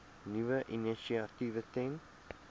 nuwe initiatiewe ten